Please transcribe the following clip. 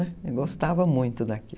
Eu gostava muito daqui.